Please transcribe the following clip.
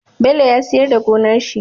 Bello ya siyar da gonar shi